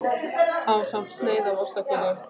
Ásamt sneið af ostaköku sagði hann.